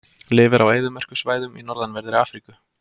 Lifir á eyðimerkursvæðum í norðanverðri Afríku.